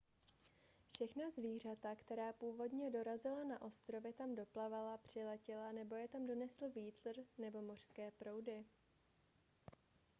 všechna zvířata která původně dorazila na ostrovy tam doplavala přiletěla nebo je tam donesl vítr nebo mořské proudy